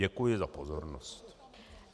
Děkuji za pozornost.